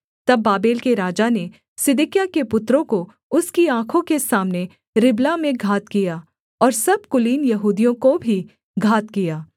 तब बाबेल के राजा ने सिदकिय्याह के पुत्रों को उसकी आँखों के सामने रिबला में घात किया और सब कुलीन यहूदियों को भी घात किया